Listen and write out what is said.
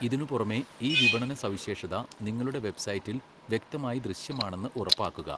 ഇതിനുപുറമെ, ഈ വിപണനസവിശേഷത നിങ്ങളുടെ വെബ്സൈറ്റിൽ വ്യക്തമായി ദൃശ്യമാണെന്ന് ഉറപ്പാക്കുക.